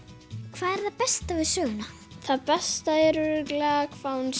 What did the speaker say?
hvað er það besta við söguna það besta er örugglega hvað hún